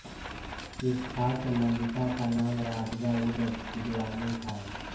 इस खास मल्लिका का नाम राबीया उद दुरानी था